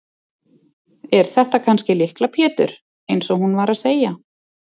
Er þetta kannski Lykla Pétur eins og hún var að segja?